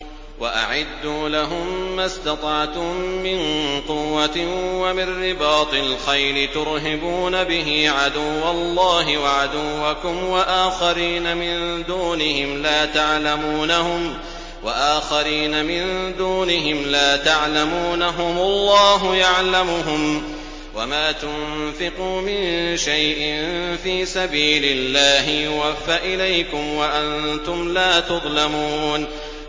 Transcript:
وَأَعِدُّوا لَهُم مَّا اسْتَطَعْتُم مِّن قُوَّةٍ وَمِن رِّبَاطِ الْخَيْلِ تُرْهِبُونَ بِهِ عَدُوَّ اللَّهِ وَعَدُوَّكُمْ وَآخَرِينَ مِن دُونِهِمْ لَا تَعْلَمُونَهُمُ اللَّهُ يَعْلَمُهُمْ ۚ وَمَا تُنفِقُوا مِن شَيْءٍ فِي سَبِيلِ اللَّهِ يُوَفَّ إِلَيْكُمْ وَأَنتُمْ لَا تُظْلَمُونَ